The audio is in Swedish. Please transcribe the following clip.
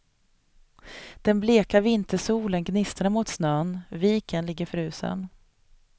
Den bleka vintersolen gnistrar mot snön, viken ligger frusen.